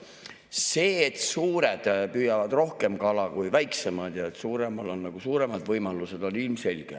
See, et suured püüavad rohkem kala kui väiksemad ja suuremal on suuremad võimalused, on ilmselge.